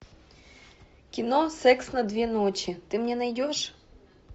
кино секс на две ночи ты мне найдешь